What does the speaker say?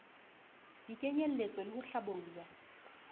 di kenyelletswe le ho hlabollwa